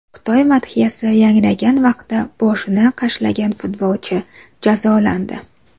Xitoy madhiyasi yangragan vaqtda boshini qashlagan futbolchi jazolandi.